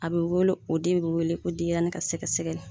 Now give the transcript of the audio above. A bi wele o den bi wele ko denyɛrɛnin ka sɛgɛsɛgɛli